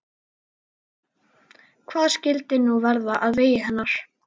Hvað skyldi nú verða á vegi þeirra?